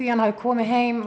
hann hafi komið heim